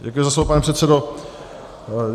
Děkuji za slovo, pane předsedo.